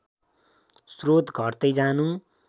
स्रोत घट्दै जानु